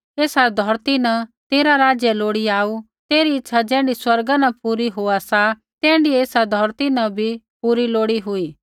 एसा धौरती न तेरा राज्य लोड़ी आऊ तेरी इच्छा ज़ैण्ढी स्वर्गा न पूरी होआ सा तैण्ढी एसा धौरती न भी पूरी लोड़ी हुई